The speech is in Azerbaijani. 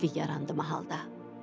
Sakitlik yarandı mahalda.